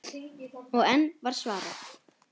Og enn var svarað: